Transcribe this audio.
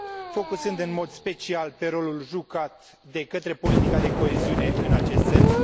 focusând în mod special pe rolul jucat de către politica de coeziune în acest sens.